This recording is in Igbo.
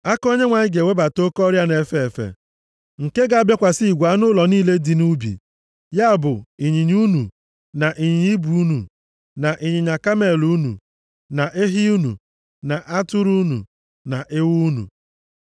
aka Onyenwe anyị ga-ewebata oke ọrịa na-efe efe nke ga-abịakwasị igwe anụ ụlọ unu niile dị nʼubi. Ya bụ, ịnyịnya unu, na ịnyịnya ibu unu, na ịnyịnya kamel unu, na ehi unu, na atụrụ unu na ewu unu.